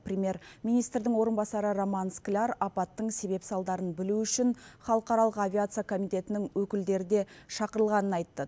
премьер министрдің орынбасары роман скляр апаттың себеп салдарын білу үшін халықаралық авиация комитетінің өкілдері де шақырылғанын айтты